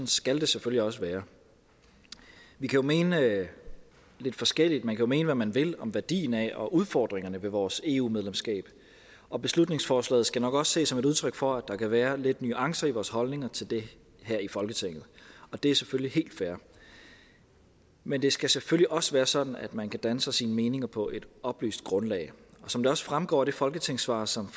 skal det selvfølgelig også være vi kan jo mene lidt forskelligt man kan jo mene hvad man vil om værdien af og udfordringerne ved vores eu medlemskab og beslutningsforslaget skal nok også ses som et udtryk for at der kan være lidt nuancer i vores holdninger til det her i folketinget og det er selvfølgelig helt fair men det skal selvfølgelig også være sådan at man kan danne sig sine meninger på et oplyst grundlag og som det også fremgår af det folketingssvar som